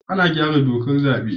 Ana gyara dokar zabe